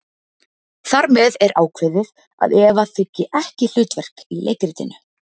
Þar með er ákveðið að Eva þiggi ekki hlutverk í leikritinu.